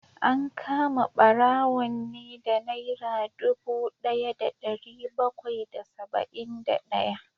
An kama barawon ne da naira dubu daya da dari bakwai da saba’in da daya